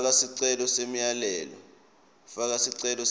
faka sicelo semyalelo